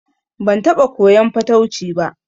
Ban taɓa koyan fatauci ba